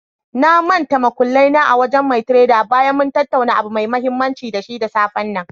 Na mantal muƙullai na a wajen mai tredar bayan mun tattauna abu mai mahimmanci da shi da safe.